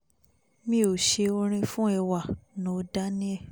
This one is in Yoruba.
mi ò ṣe orin fún ẹwà knorr daniel